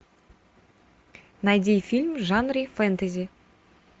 найди фильм в жанре фэнтези